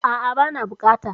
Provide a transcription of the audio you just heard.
Aa' bana bukata